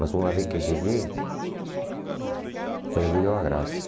Mas uma vez que cheguei, perdeu a graça.